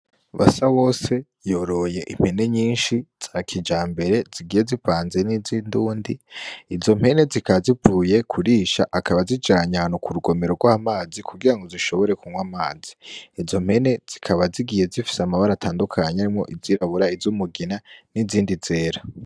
Basa wose yoroye impene nyinshi za kija mbere zigiye zipanze n'izo indundi izo mpene zikazivuye kurisha akaba zijanya hanu ku rugomero rwa mazi kugira ngo zishobore kunywa amazi izo mpene zikaba zigiye zifise amabara atandukanye arimwo izirabura izo umugina n'izindi zera.